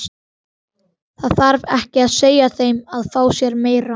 Það þarf ekki að segja þeim að fá sér meira.